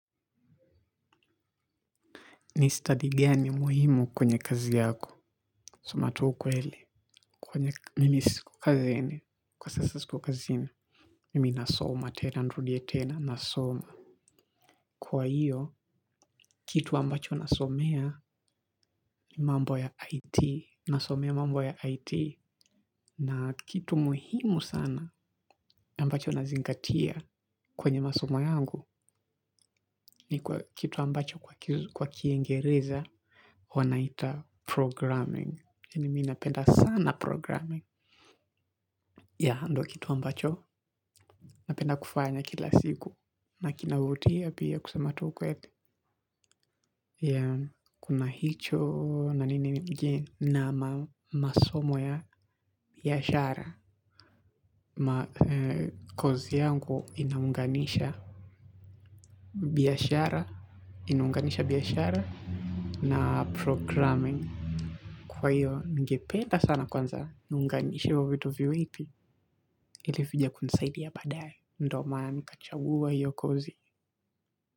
Ni study gani muhimu kwenye kazi yako. Sema tu ukweli. Kwani mimi siko kazini. Kwa sasa siko kazini mi nasoma tena nirudie tena nasoma. Kwa hiyo, kitu ambacho nasomea ni mambo ya IT. Nasomea mambo ya IT. Na kitu muhimu sana ambacho nazingatia kwenye masomo yangu ni kitu ambacho kwa kiengereza wanaita programming. Mimi napenda sana programming ndio kitu ambacho napenda kufanya kila siku na kinavutia pia kusema tu ukweli, kuna hicho na nini ingine masomo ya biashara. Kozi yangu inaunganisha biashara. Inaunganisha biashara na programming. Kwa hiyo ningependa sana kwanza. Niunganishi hivo vitu viwili ipi ilikuja kunisaidi ya badae, ndio maana nikachagua hiyo kozi.